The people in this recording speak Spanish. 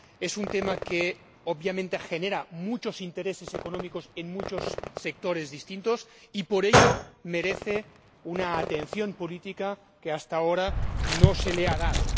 es un tema que, obviamente, genera muchos intereses económicos en muchos sectores distintos y, por ello, merece una atención política que hasta ahora no se le ha dado.